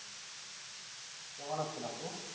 কেমন আছেন আপু?